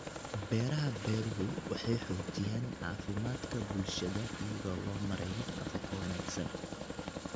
Beeraha beeruhu waxay xoojiyaan caafimaadka bulshada iyadoo loo marayo nafaqo wanaagsan.